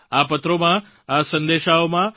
આ પત્રોમાં આ સંદેશાઓમાં